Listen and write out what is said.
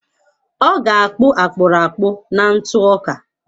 Ọ ga-akpụ akpụrụ akpụ na ntụ ọka.